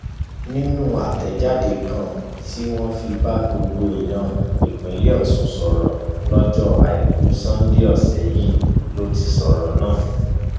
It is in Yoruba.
nínú àtẹjáde kan tó fi bá gbogbo èèyàn ìpínlẹ ọsùn sọrọ lọjọ àìkú sánńdé ọsẹ yìí ló ti sọrọ náà